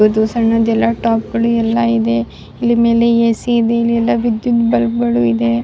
ಒಂದು ಸನ್ನದೆಲ್ಲ ಟಾಪ್ಗಳು ಎಲ್ಲ ಇದೆ ಇಲ್ಲಿ ಮೇಲೆ ಎ.ಸಿ ಇದೆ ಇಲ್ಲೆಲ್ಲಾ ವಿದ್ಯುತ್ ಬಲ್ಪ್ ಗಳು ಇದೆ.